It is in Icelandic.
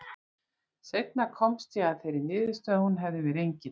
Seinna komst ég að þeirri niðurstöðu að hún hefði verið engill.